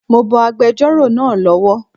Mo bọ agbẹjọ́rò náà lọ wọ̀